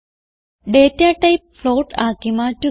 data type float ആക്കി മാറ്റുക